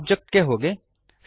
object ಗೆ ಹೋಗಿ